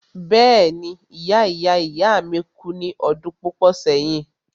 Bẹ́ẹ̀ni ìya ìya ìya mi kú ní ọdún púpọ̀ sẹ́yìn.